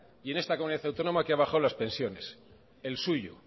y en esta comunidad autónoma que ha bajado las pensiones el suyo